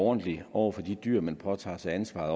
ordentlig over for de dyr man påtager sig ansvaret